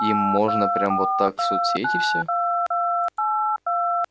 им можно прямо вот так в соцсети все